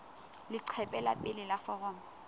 leqephe la pele la foromo